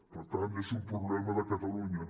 per tant és un problema de catalunya